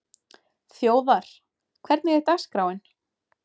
Þjóðar, hvernig er dagskráin?